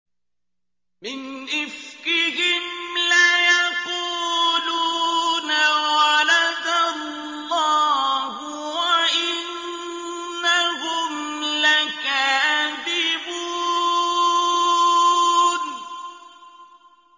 وَلَدَ اللَّهُ وَإِنَّهُمْ لَكَاذِبُونَ